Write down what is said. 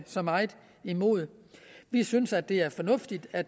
så meget imod vi synes at det er fornuftigt at